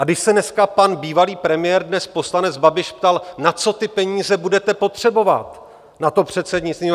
A když se dneska pan bývalý premiér, dnes poslanec Babiš ptal: na co ty peníze budete potřebovat na to předsednictví?